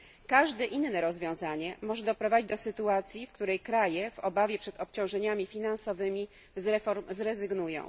Każde inne rozwiązanie może doprowadzić do sytuacji, w której kraje w obawie przed obciążeniami finansowymi z reform zrezygnują.